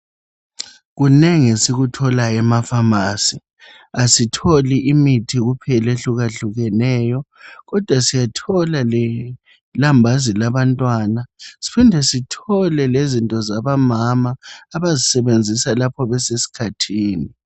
Kunengi esikutholayo ema"pharmacy".Asitholi imithi kuphela ehlukahlukeneyo kodwa siyathola lelambazi labantwana sihinde sithole lezinto zabomama abazisebenzisa lapho besesikhathini.